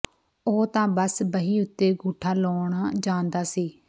ਉਹ ਤਾਂ ਬਸ ਬਹੀ ਉੱਤੇ ਗੂਠਾ ਲਾਉਣ ਜਾਣਦਾ ਸੀ